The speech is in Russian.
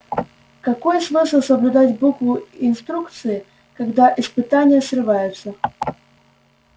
какой смысл соблюдать букву инструкции когда испытания срываются